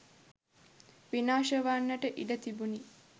විනාශ වන්නට ඉඩ තිබුණි.